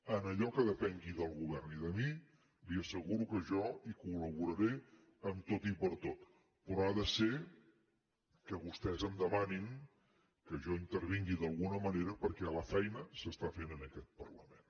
en allò que depengui del govern i de mi li asseguro que jo hi col·laboraré en tot i per tot però ha de ser que vostès em demanin que jo intervingui d’alguna manera perquè la feina s’està fent en aquest parlament